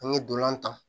An ye dolan ta